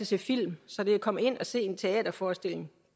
se film så det at komme ind at se en teaterforestilling